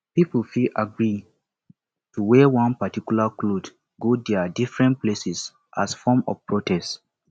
pipo fit agree to wear one particular cloth go their differents places as a form of protest